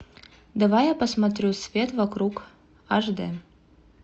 давай я посмотрю свет вокруг аш дэ